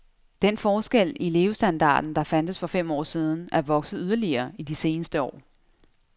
Den forskel i levestandarden, der fandtes for fem år siden, er vokset yderligere i de seneste år.